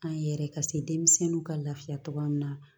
An yɛrɛ ka se denmisɛnninw ka lafiya togoya min na